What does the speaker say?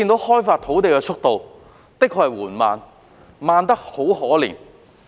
開發土地的速度，真的是緩慢得可憐。